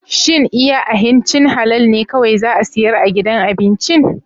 Shin iya ahincin halal ne kawai za a siyar a gidan abincin?